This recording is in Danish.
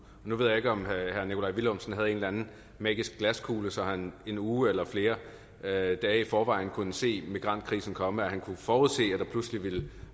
nu ved jeg ikke om herre nikolaj villumsen havde en eller anden magisk glaskugle så han i en uge eller flere dage i forvejen kunne se migrantkrisen komme og kunne forudse at der pludselig ville